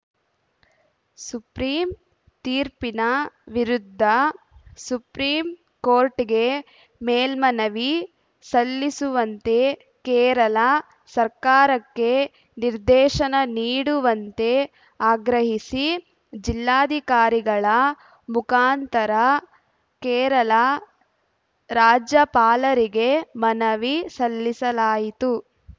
supreme ತೀರ್ಪಿನ ವಿರುದ್ಧ supreme ಕೋರ್ಟ್‌ಗೆ ಮೇಲ್ಮನವಿ ಸಲ್ಲಿಸುವಂತೆ ಕೇರಳ ಸರ್ಕಾರಕ್ಕೆ ನಿರ್ದೇಶನ ನೀಡುವಂತೆ ಆಗ್ರಹಿಸಿ ಜಿಲ್ಲಾಧಿಕಾರಿಗಳ ಮುಖಾಂತರ ಕೇರಳ ರಾಜ್ಯಪಾಲರಿಗೆ ಮನವಿ ಸಲ್ಲಿಸಲಾಯಿತು